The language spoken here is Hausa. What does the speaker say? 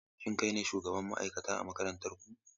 Shin kai ne shugaban ma'aikata a makarantar ku?